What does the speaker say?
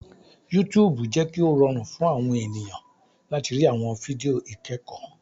YouTube jẹ kí o rọrùn fún àwọn ènìyàn láti rí àwọn fídíò ikẹkọ.